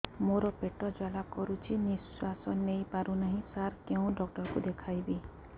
ମୋର ପେଟ ଜ୍ୱାଳା କରୁଛି ନିଶ୍ୱାସ ନେଇ ପାରୁନାହିଁ ସାର କେଉଁ ଡକ୍ଟର କୁ ଦେଖାଇବି